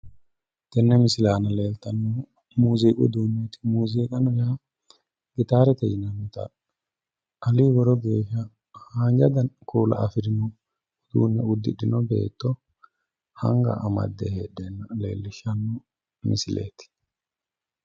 Tenne misile aana leeltannohu muuziiqu uduuneeti. Muuziqu uduuneeti yaa gitaarete yinannita ali woro geeshsha haanja kuula afirino uddidhino beetto anga amadde heedheenna leellishshanno misileeti.